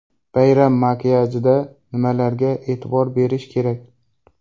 Bayram makiyajida nimalarga e’tibor berish kerak?.